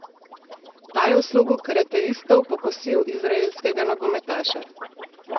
Ta je v slogu karateistov pokosil izraelskega nogometaša.